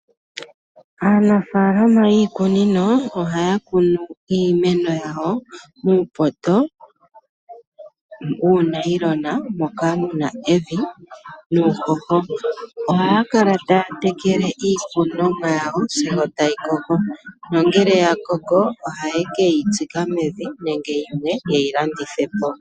Aanafaalama yiikunino ohaya kunu iimeno yawo muupoto, muunayilona moka muna evi nuuhoho. Ohaya kala taya tekele iikunomwa yawo, yo tayi koko, nongele ya koko ohaye keyi tsika mevi nenge yimwe ye keyi landithe po.